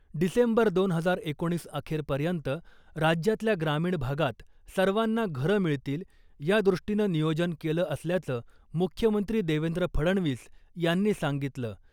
डिसेंबर दोन हजार एकोणीस अखेरपर्यंत राज्यातल्या ग्रामीण भागात सर्वांना घरं मिळतील यादृष्टीनं नियोजन केलं असल्याचं मुख्यमंत्री देवेंद्र फडणवीस यांनी सांगितलं .